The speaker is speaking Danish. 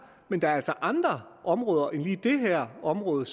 men der er altså andre områder end lige det her område